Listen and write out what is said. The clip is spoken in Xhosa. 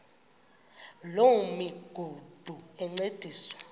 loo migudu encediswa